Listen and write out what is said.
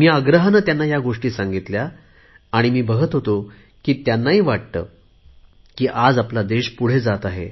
मी आग्रहाने त्यांना या गोष्टी सांगितल्या आहेत आणि मी बघत होतो की त्यांनाही वाटत आहे की आज देश पुढे जात आहे